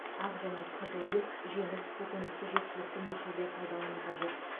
ақ және қызыл ет жеміс көкөністі жеткілікті мөлшерде пайдалану қажет